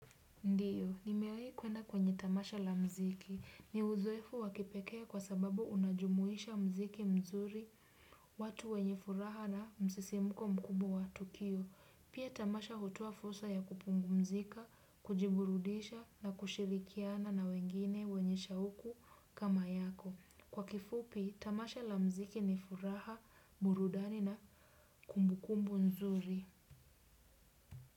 Ndio, nimewahi kuenda kwenye tamasha la muziki. Ni uzoefu wa kipekee kwa sababu unajumuisha muziki mzuri, watu wenye furaha na msisimuko mkubwa wa tukio. Pia tamasha hutoa fursa ya kupumzika, kujiburudisha na kushirikiana na wengine wenye shauku kama yako. Kwa kifupi, tamasha la muziki ni furaha, burudani na kumbukumbu nzuri.